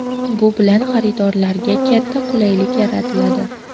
Bu bilan xaridorlarga katta qulaylik yaratiladi.